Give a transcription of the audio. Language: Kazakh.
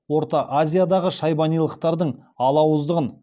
орта азиядағы шайбанилықтардың алауыздығын